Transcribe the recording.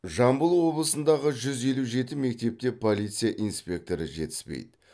жамбыл облысындағы жүзелу жеті мектепте полиция инспекторы жетіспейді